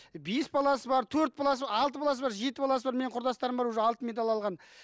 бес баласы бар төрт баласы алты баласы бар жеті баласы бар менің құрдастарым бар уже алтын медаль алған